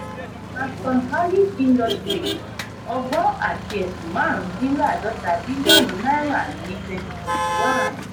nascon allied industries: ọgbọ̀n àti ẹ̀sún marun din ladota bilionu náírà ní twenty twenty one.